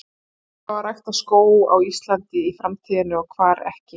Hvar á að rækta skóg á Íslandi í framtíðinni og hvar ekki?